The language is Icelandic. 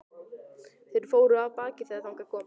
Þeir fóru af baki þegar þangað kom.